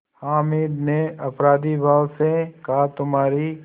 हामिद ने अपराधीभाव से कहातुम्हारी